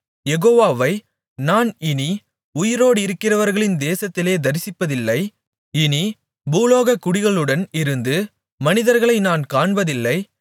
யெகோவாவை நான் இனி உயிரோடிருக்கிறவர்களின் தேசத்திலே தரிசிப்பதில்லை இனி பூலோகக்குடிகளுடன் இருந்து மனிதர்களை நான் காண்பதில்லை